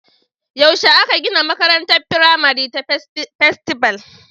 Yaushe aka gina makarantar firamare ta Festival?